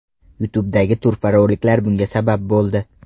YouTube’dagi turfa roliklar bunga sabab bo‘ldi.